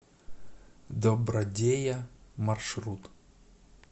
добродея маршрут